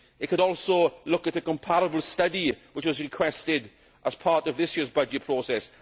It could also look at a comparable study which was requested as part of this year's budget process